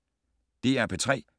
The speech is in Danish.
DR P3